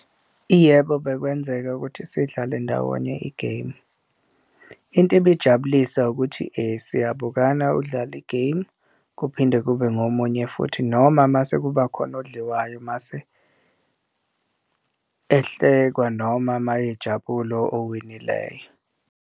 Iyebo, bekwenzeka ukuthi sidlale ndawonye i-game into ebijabulisa ukuthi siyabukana udlale i-game, kuphinde kube ngomunye futhi noma uma sekuba khona odliwayo, mase ehlekwa noma uma ejabule owinileyo.